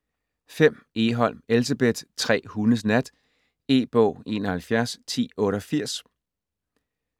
Egholm, Elsebeth: Tre hundes nat E-bog 711088